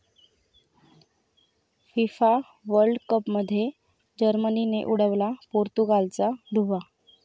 FIFA world कपमध्ये जर्मनीने उडवला पोर्तुगालचा धुव्वा